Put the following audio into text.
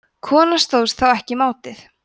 konan stóðst þá ekki mátið